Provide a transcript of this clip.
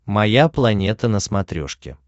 моя планета на смотрешке